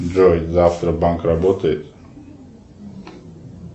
джой завтра банк работает